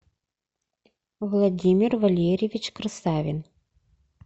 владимир валерьевич красавин